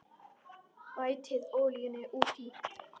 Bætið olíunni út í.